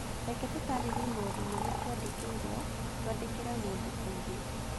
Reke tũtaarĩrie maũndũ marĩa twandĩkĩirũo twandĩkĩre mũndũ ũngĩ